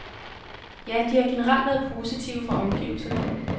Ja, de har generelt været positive fra omgivelserne.